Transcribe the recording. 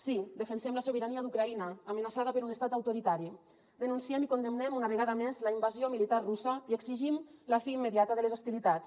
sí defensem la sobirania d’ucraïna amenaçada per un estat autoritari denunciem i condemnem una vegada més la invasió militar russa i exigim la fi immediata de les hostilitats